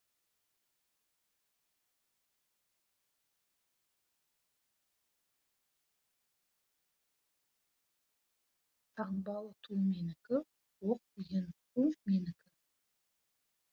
таңбалы ту менікі оқ тиген қу менікі